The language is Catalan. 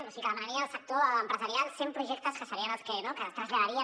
o sigui que demanarien al sector empresarial cent projectes que serien els que es traslladarien